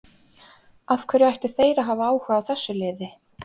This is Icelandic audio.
Af hverju ættu þeir að hafa áhuga á þessu liði?